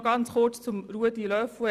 Noch zum Votum von Ruedi Löffel.